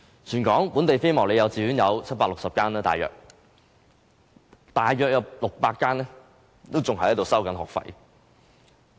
全港本地非牟利幼稚園有大約760間，但當中約600間還在收取學費。